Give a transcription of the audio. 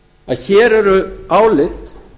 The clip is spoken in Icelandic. að hér eru álit